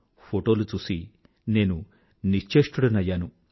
photo చూసి నేను నిశ్చేష్టుడనయ్యాను